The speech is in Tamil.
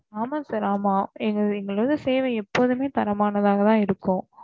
ஆமா sir ஆமா எங்க எங்கலோடைய சேவை எப்பொழுதுமே தரமானதா தான் இருக்கும்